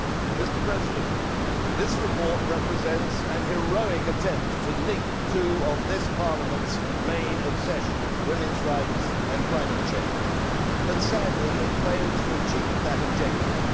Mr President, this report represents a heroic attempt to link two of this Parliament's main obsessions women's rights and climate change but sadly it fails to achieve that objective.